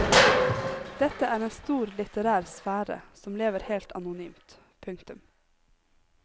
Dette er en stor litterær sfære som lever helt anonymt. punktum